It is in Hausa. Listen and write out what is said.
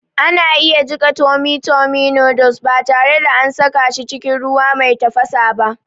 Ana iya jiƙa tummy tummy noddles ba tare da an saka cikin ruwa mai tafasa ba